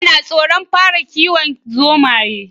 Bello na tsoron fara kiwon zomaye